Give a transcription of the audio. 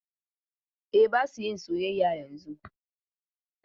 A, ba su yin soyayya yanzun.